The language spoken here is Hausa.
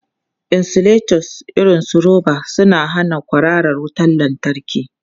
Insulators irin su roba suna hana kwararar wutar lantarki.